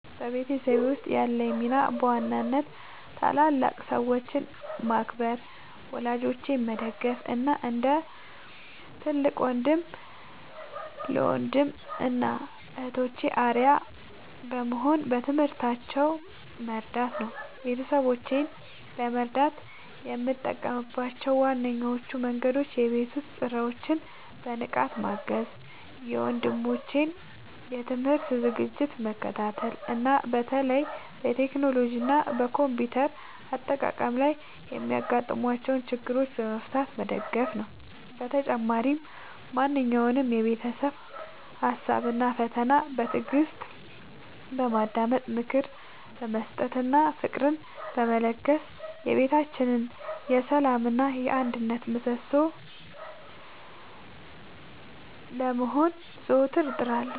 በቤተሰቤ ውስጥ ያለኝ ሚና በዋናነት ታላላቅ ሰዎችን ማክበር፣ ወላጆቼን መደገፍ እና እንደ ትልቅ ወንድም ለወንድም እና እህቶቼ አርአያ በመሆን በትምህርታቸው መርዳት ነው። ቤተሰቦቼን ለመርዳት የምጠቀምባቸው ዋነኞቹ መንገዶች የቤት ውስጥ ሥራዎችን በንቃት ማገዝ፣ የወንድሞቼን የትምህርት ዝግጅት መከታተል እና በተለይም በቴክኖሎጂ እና በኮምፒውተር አጠቃቀም ላይ የሚያጋጥሟቸውን ችግሮች በመፍታት መደገፍ ነው። በተጨማሪም ማንኛውንም የቤተሰብ ሀሳብ እና ፈተና በትዕግስት በማዳመጥ፣ ምክር በመስጠት እና ፍቅርን በመለገስ የቤታችን የሰላም እና የአንድነት ምሰሶ ለመሆን ዘወትር እጥራለሁ።